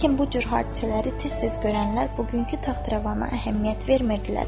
Lakin bu cür hadisələri tez-tez görənlər bugünkü taxt-rəvana əhəmiyyət vermirdilər.